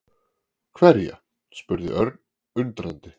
Hverja? spurði Örn undrandi.